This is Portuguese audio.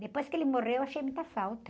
Depois que ele morreu, achei muita falta.